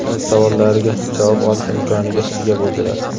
o‘z savollariga javob olish imkoniga ega bo‘ldilar.